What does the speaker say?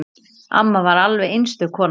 Amma var alveg einstök kona.